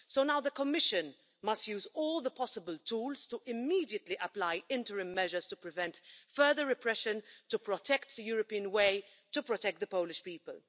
So now the Commission must use all the possible tools to immediately apply interim measures to prevent further repression, to protect the European way and to protect the Polish people.